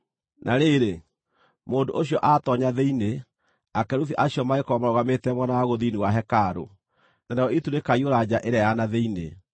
Na rĩrĩ, mũndũ ũcio aatoonya thĩinĩ, akerubi acio magĩkorwo marũgamĩte mwena wa gũthini wa hekarũ, narĩo itu rĩkaiyũra nja ĩrĩa ya na thĩinĩ.